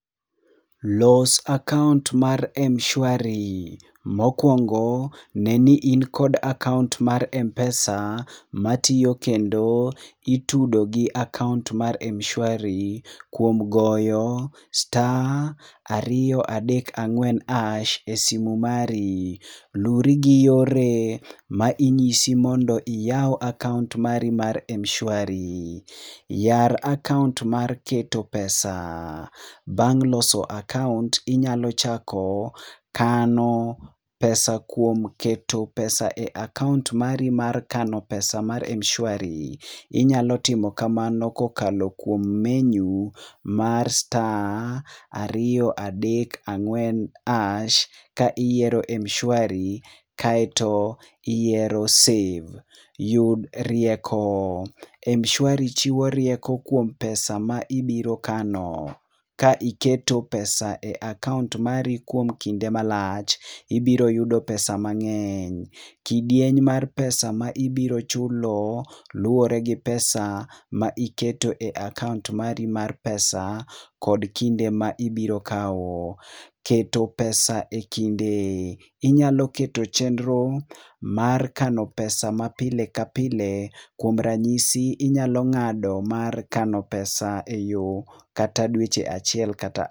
los account mara mshwari. mokwongo ne ni in kod account mar mpesa matiyo kendo itudo gi account mar mshwari kuom goyo *234# simu mari, luri gi yore mainyisi mondo iyaw account mari mar mshwari. yar account mar keto pesa. bang loso account inyalo chako kano pesa kuom keto pesa e account mari mar keto pesa mar mshwari. inyalo timo kamano kuom tiyo gi menu mar *234# ka iyiero mshwari kaeto iyiero save. yudo rieko. mshwari chiwo rieko kuom pesa ma ibiro kano ka iketo pesa e account mari kuom kinde malach ibiro yudo pesa mangeny. kidieny mar pesa m ibiro chulo luwore gi pesa ma iketo e account mari mar pesa kod kinde ma ibiro kao. keto pesa e kinde. inyalo keto chendro mar keto pesa pile ka pile kuom ranysi inyalo ngado keto pesa e dwe.